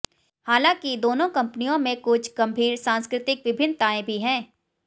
हालांकि दोनों कंपनियों में कुछ गंभीर सांस्कृतिक विभिन्नताएं भी हैं